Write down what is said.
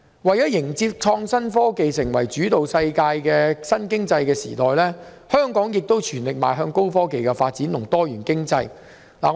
為了迎接以創新科技為主導的新經濟時代，香港亦全力邁向高科技及多元經濟發展。